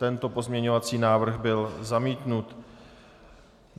Tento pozměňovací návrh byl zamítnut.